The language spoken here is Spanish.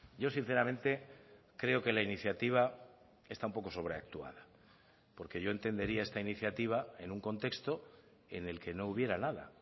yo sinceramente creo que la iniciativa está un poco sobreactuada porque yo entendería esta iniciativa en un contexto en el que no hubiera nada